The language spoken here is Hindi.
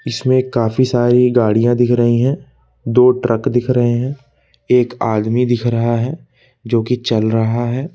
इसमें काफी सारी गाड़ियां दिख रही है दो ट्रक दिख रहे हैं एक आदमी दिख रहा है जोकि चल रहा है।